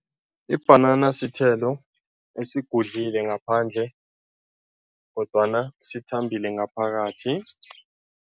Ibhanana sithelo esigudlile ngaphandle kodwana sithambile ngaphakathi.